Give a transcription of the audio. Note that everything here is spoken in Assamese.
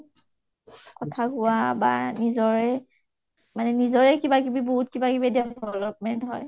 নিজৰে মানে নিজৰে কিবা কিবি বাহুত কিবা কিবি development হয়